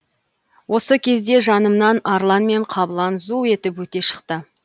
осы кезде жанымнан арлан мен қабылан зу етіп өте шықты